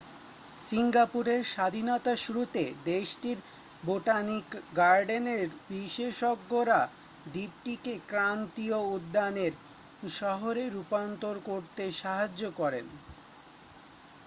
সিংগাপুরের স্বাধীনতার শুরুতে দেশটির বোটানিক গার্ডেনের বিশেষজ্ঞরা দ্বীপটিকে ক্রান্তীয় উদ্যানের শহরে রূপান্তর করতে সাহায্য করেন